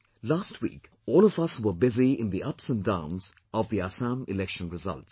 Last week all of us were busy in the ups & downs of Assam election results